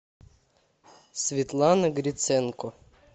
светлана гриценко